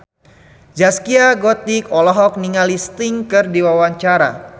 Zaskia Gotik olohok ningali Sting keur diwawancara